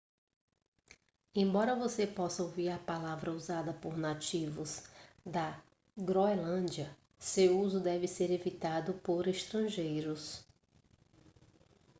embora você possa ouvir a palavra usada por nativos da groenlândia seu uso deve ser evitado por estrangeiros